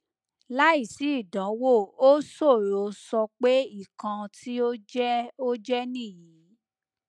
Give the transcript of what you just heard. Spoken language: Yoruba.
laisi idanwo o soro so pe ikan ti o je o je niyi